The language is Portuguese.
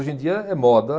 Hoje em dia é moda.